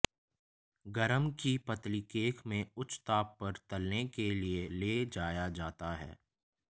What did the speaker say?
गरम की पतली केक में उच्च ताप पर तलने के लिए ले जाया जाता है